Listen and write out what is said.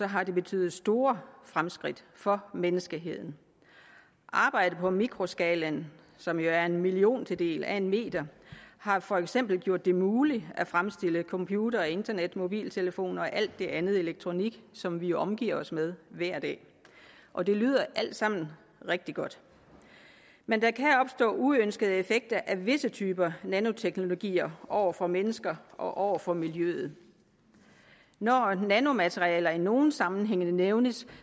har det betydet store fremskridt for menneskeheden arbejdet på mikroskalaen som jo er en milliontedel af en meter har for eksempel gjort det muligt at fremstille computere og internetmobiltelefoner og al den anden elektronik som vi jo omgiver os med hver dag og det lyder alt sammen rigtig godt men der kan opstå uønskede effekter af visse typer nanoteknologier over for mennesker og over for miljøet når nanomaterialer i nogle sammenhænge nævnes